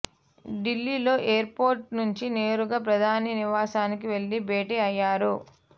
ఢిల్లీలో airport నుంచి నేరుగా ప్రధాని నివాసానికి వెళ్లి భేటీ అయ్యారు